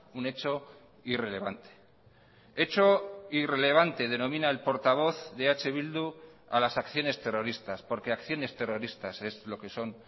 un hecho irrelevante hecho irrelevante denomina el portavoz de eh bildu a las acciones terroristas porque acciones terroristas es lo que son